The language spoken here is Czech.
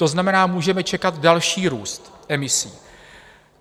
To znamená, můžeme čekat další růst emisí.